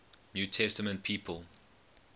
new testament people